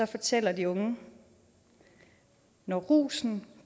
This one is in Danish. fortæller de unge når rusen